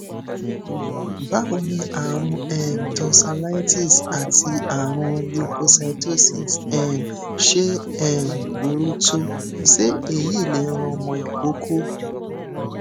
báwo ni àrùn um tonsillitis àti àrùn leukocytosis um ṣe um burú tó se eyi le ran omo ikoko